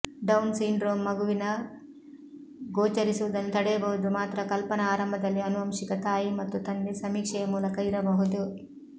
down syndrome ಮಗುವಿನ ಗೋಚರಿಸುವುದನ್ನು ತಡೆಯಬಹುದು ಮಾತ್ರ ಕಲ್ಪನಾ ಆರಂಭದಲ್ಲಿ ಆನುವಂಶಿಕ ತಾಯಿ ಮತ್ತು ತಂದೆ ಸಮೀಕ್ಷೆಯ ಮೂಲಕ ಇರಬಹುದು